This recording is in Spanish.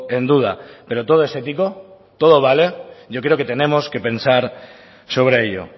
en duda pero todo es ético todo vale yo creo que tenemos que pensar sobre ello